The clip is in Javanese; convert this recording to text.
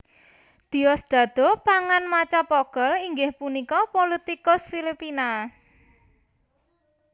Diosdado Pangan Macapagal inggih punika politikus Filipina